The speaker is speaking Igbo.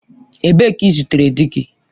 Ebee ka i zutere di gi?